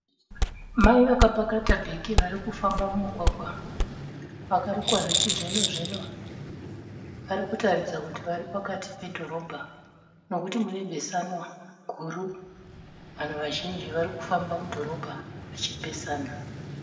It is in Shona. Mai vakapakata bheke varikufamba mumugwagwa, vakarukwa zvechizvino zvino. Varikutaridza kuti vari pakati pedhorobha nekuti mune besanwa guru. Vanhu vazhinji varikufamba mudhorobha vachipesana